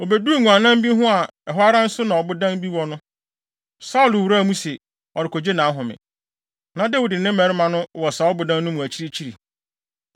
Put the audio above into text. Obeduu nguannan bi ho a ɛhɔ ara nso na ɔbodan bi wɔ no, Saulo wuraa mu sɛ, ɔrekogye nʼahome. Na Dawid ne ne mmarima no wɔ saa ɔbodan no mu akyirikyiri.